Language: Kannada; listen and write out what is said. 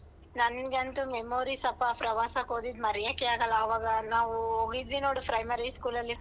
ನನ್ಗಂತು memories ಅಪ್ಪ ಪ್ರವಾಸಕ್ ಹೋಗಿದ್ದು ಮರ್ಯಕ್ಕೆ ಆಗಲ್ಲ ಆವಾಗ ನಾವು ಹೋಗಿದ್ವಿ ನೋಡು primary school ಅಲ್ಲಿ.